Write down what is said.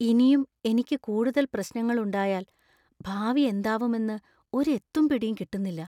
ഇനിയും എനിക്ക് കൂടുതൽ പ്രശ്‌നങ്ങൾ ഉണ്ടായാൽ ഭാവി എന്താവുമെന്നു ഒരു എത്തും പിടീം കിട്ടുന്നില്ല.